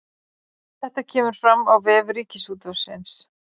Þetta kemur fram á vef Ríkisútvarpsins